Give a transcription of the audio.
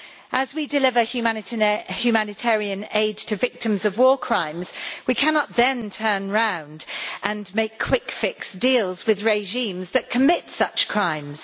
As we deliver humanitarian aid to victims of war crimes we cannot then turn round and make quick fix deals with regimes that commit such crimes.